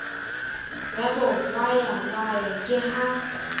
ya ba hwayahwaya ke ha